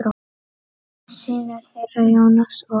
Synir þeirra, Jónas og